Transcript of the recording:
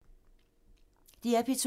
DR P2